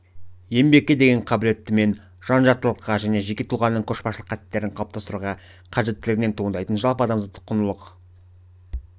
еңбекке деген қабілеттімен жан-жақтылыққа және жеке тұлғаның көшбасшылық қасиеттерін қалыптастыруға қажеттілігінен туындайтын жалпы азаматтық құндылықтарды